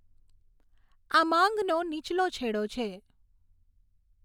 આ માંગનો નીચલો છેડો છે.